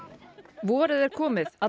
vorið er komið